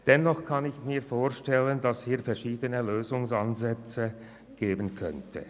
Ich kann mir vorstellen, dass es verschiedene Lösungsansätze geben könnte: